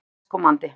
Apríl næstkomandi.